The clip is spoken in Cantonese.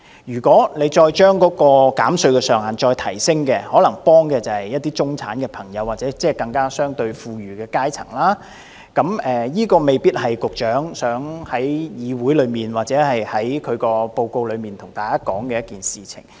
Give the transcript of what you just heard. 如果再將減稅上限提升，可能幫助的是一些中產朋友或相對富裕的階層，這未必是局長想在議會內或報告中跟大家說的一件事。